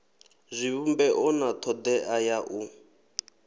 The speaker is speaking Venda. zwivhumbeo na thodea ya u